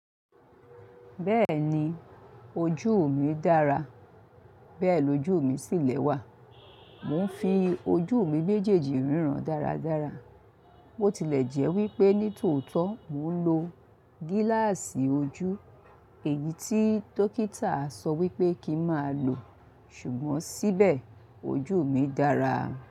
Bẹ́ẹ̀ni ojú mi dára, bẹ́ẹ̀ lo ojú mi sì lè wà. Mo ń fi ojú mi béjèjì ríran dáradára. Botilẹ̀ jẹ́ wípé ní tòótọ́ mo ń lo gíláàsì ojú, èyí tí dókítà sọ wípé kí má lò, ṣùgbọ́n síbè ojú mi dára.